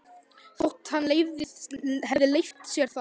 Þótt hann hefði leyft sér það.